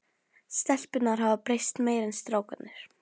Stelpurnar hafa breyst meira en strákarnir.